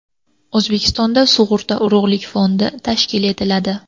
O‘zbekistonda sug‘urta urug‘lik fondi tashkil etiladi.